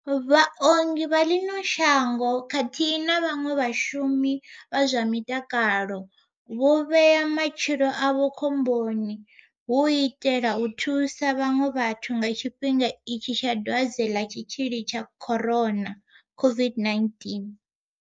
Vhaongi vha ḽino shango khathihi na vhaṅwe vhashumi vha zwa mutakalo, vho vhea matshilo avho khomboni hu u itela u thusa vhaṅwe vhathu nga tshifhinga itshi tsha Dwadze ḽa tshitzhili tsha Corona COVID-19.